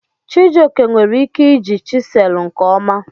Chijioke nwere ike iji chiselụ nke ọma.